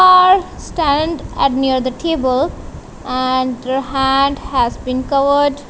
stand at near the table and hand has been covered--